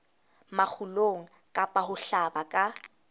makgulong kapa ho hlaba ka